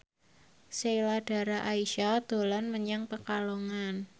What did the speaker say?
Sheila Dara Aisha dolan menyang Pekalongan